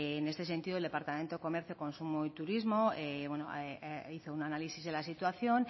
en este sentido el departamento de comercio consumo y turismo hizo un análisis de la situación